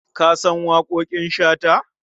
Ka san waƙoƙin Shata?